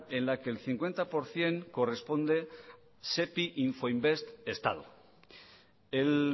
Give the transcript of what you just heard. en la que el cincuenta por ciento corresponde sepi infoinvest estado el